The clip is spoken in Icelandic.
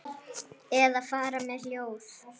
Eða fara með ljóð.